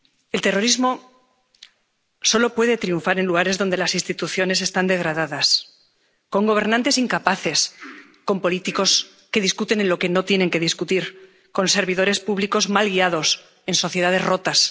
El terrorismo solo puede triunfar en lugares donde las instituciones están degradadas, con gobernantes incapaces, con políticos que discuten de lo que no tienen que discutir, con servidores públicos mal guiados, en sociedades rotas.